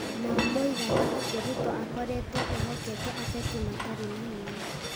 Nao moigaga atĩ Ruto aakoretwo ehokete ateti matarĩ na hinya,